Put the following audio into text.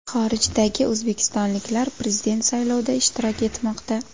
Xorijdagi o‘zbekistonliklar Prezident saylovida ishtirok etmoqda.